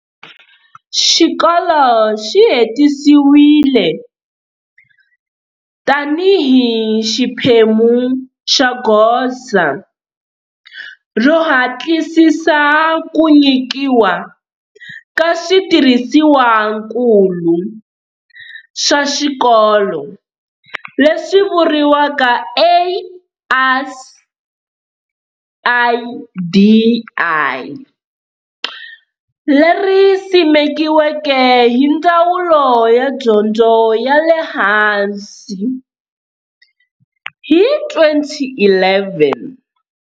Xikolo xi hetisiwile tanihi xiphemu xa Goza ro Hatlisisa Ku nyikiwa ka switirhisiwankulu swa Swikolo leswi vuiwaka, ASIDI, leri simekiweke hi Ndzawulo ya Dyondzo ya le Hansi hi 2011.